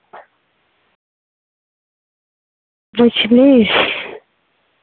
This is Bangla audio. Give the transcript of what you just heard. বুঝলি